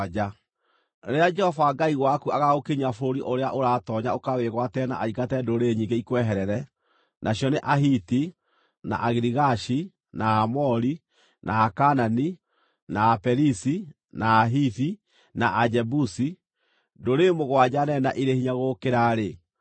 Rĩrĩa Jehova Ngai waku agaagũkinyia bũrũri ũrĩa ũratoonya ũkawĩgwatĩre na aingate ndũrĩrĩ nyingĩ ikweherere, nacio nĩ Ahiti, na Agirigashi, na Aamori, na Akaanani, na Aperizi, na Ahivi na Ajebusi, ndũrĩrĩ mũgwanja nene na irĩ hinya gũgũkĩra-rĩ,